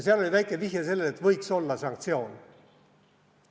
Seal oli väike vihje, et võiks olla sanktsioon.